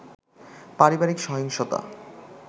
পারিবারিক সহিংসতা